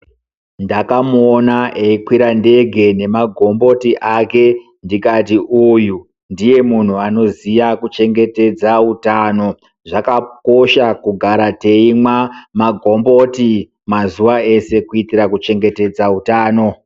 Ndakamuona eikwira ndege nemagomboti ake ndikati uyu ndiye munhu anoziya kuchengetedza utano zvakakosha kugara teimwa magomboti mazuwa eshe kuitira kuchengetedza utano.